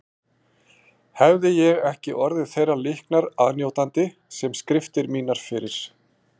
Hefði ég ekki orðið þeirrar líknar aðnjótandi sem skriftir mínar fyrir